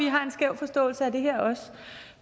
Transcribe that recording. har en skæv forståelse af det her